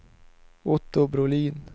Otto Brolin